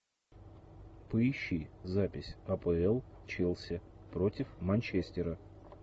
поищи запись апл челси против манчестера